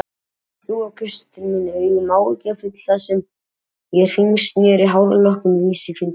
spurðir þú og gaust til mín augum áhyggjufull þar sem ég hringsneri hárlokk um vísifingur.